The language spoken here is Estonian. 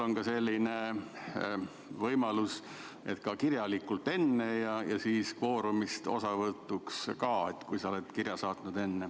On ka selline võimalus, et hääletad kirjalikult enne ja kui sa oled sellise kirja saatnud, siis see tähendab kvoorumi arvestuses osavõttu.